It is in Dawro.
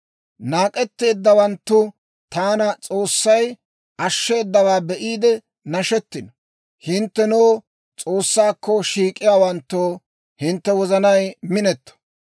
Naak'etteeddawanttu taana S'oossay, ashsheedawaa be'iide nashetino. Hinttenoo S'oossaakko shiik'iyaawanttoo, hintte wozanay minetto.